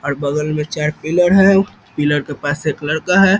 और बगल में चार पिलर है पिलर के पास एक लड़का है।